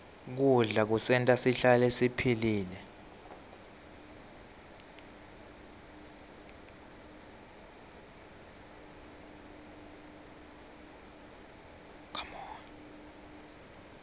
kudla kusenta sihlale siphilile